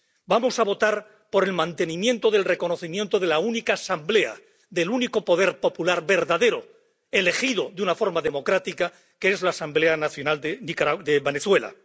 Vamos a votar por el mantenimiento del reconocimiento de la única Asamblea, del único poder popular verdadero, elegido de una forma democrática, que es la Asamblea Nacional de Venezuela.